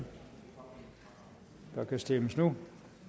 der kan stemmes nu